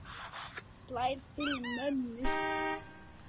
Slær til mömmu.